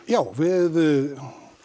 já við